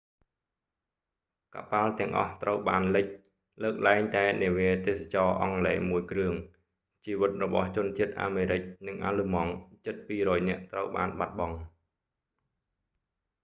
កប៉ាល់ទាំងអស់ត្រូវបានលិច លើកលែងតែនាវាទេសចរណ៍អង់គ្លេសមួយគ្រឿង ជីវិតរបស់ជនជាតិអាមេរិកនិងអាល្លឺម៉ង់ជិត 200 នាក់ត្រូវបានបាត់បង់